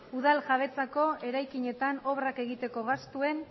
udal jabetzako eraikinetan obrak egiteko gastuen